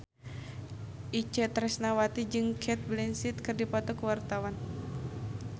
Itje Tresnawati jeung Cate Blanchett keur dipoto ku wartawan